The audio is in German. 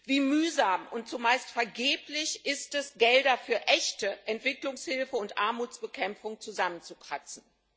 Wie mühsam und zumeist vergeblich ist es, Gelder für echte Entwicklungshilfe und Armutsbekämpfung zusammenzukratzen.